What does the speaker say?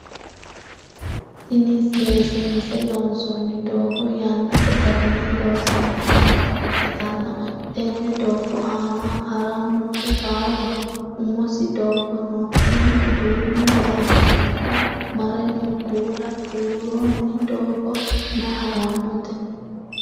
Tinni seesiinse loonsoonni doogo yannate garinni loosante noota ikitanna tenne doogo aanna haranura baalaho umisi doogo no tinni duumo lawara mare noo kuula buuronni doogo mayi haranote?